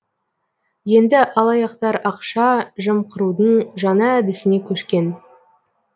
енді алаяқтар ақша жымқырудың жаңа әдісіне көшкен